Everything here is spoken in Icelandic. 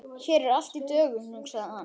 Hér er allt í dögun, hugsaði hann.